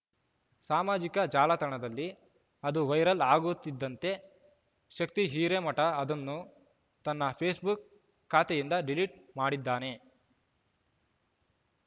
ಸಾಮಾಜಿಕ ಜಾಲತಾಣದಲ್ಲಿ ಅದು ವೈರಲ್ ಆಗುತ್ತಿದ್ದಂತೆ ಶಕ್ತಿ ಹಿರೇಮಠ ಅದನ್ನು ತನ್ನ ಫೇಸ್ ಬುಕ್ ಖಾತೆಯಿಂದ ಡಿಲೀಟ್ ಮಾಡಿದ್ದಾನೆ